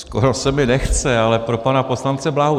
Skoro se mi nechce, ale pro pana poslance Bláhu.